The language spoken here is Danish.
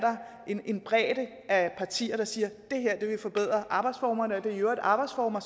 en bredde af partier der siger det her vil forbedre arbejdsformerne og det er i øvrigt arbejdsformer